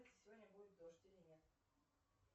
сегодня будет дождь или нет